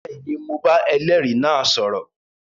Bẹẹni, Mó bà ẹlẹri náà sọrọ